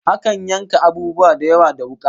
Akan yanka abubuwa da yawa da wuka